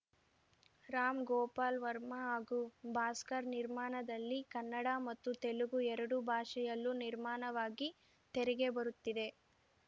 ರಾಮ್‌ ಗೋಪಾಲ್‌ ವರ್ಮ ಹಾಗೂ ಭಾಸ್ಕರ್‌ ನಿರ್ಮಾಣದಲ್ಲಿ ಕನ್ನಡ ಮತ್ತು ತೆಲುಗು ಎರಡು ಭಾಷೆಯಲ್ಲೂ ನಿರ್ಮಾಣವಾಗಿ ತೆರೆಗೆ ಬರುತ್ತಿದೆ